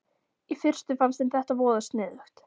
Í fyrstu fannst þeim þetta voða sniðugt.